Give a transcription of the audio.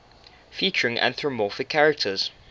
featuring anthropomorphic characters